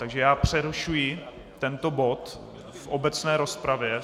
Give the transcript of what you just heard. Takže já přerušuji tento bod v obecné rozpravě.